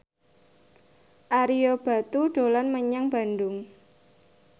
Ario Batu dolan menyang Bandung